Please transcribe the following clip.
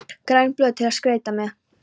græn blöð til að skreyta með